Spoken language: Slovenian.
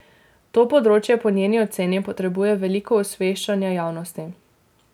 To področje po njeni oceni potrebuje veliko osveščanja javnosti.